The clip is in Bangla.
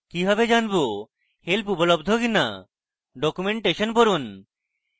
কি ভাবে জানবো help উপলব্ধ কিনা documentation পড়ুন